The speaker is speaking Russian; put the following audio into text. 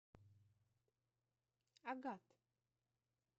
агат